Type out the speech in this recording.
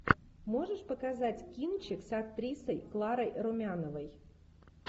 можешь показать кинчик с актрисой кларой румяновой